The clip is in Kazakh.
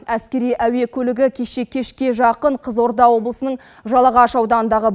әскери әуе көлігі кеше кешке жақын қызылорда облысының жалағаш ауданындағы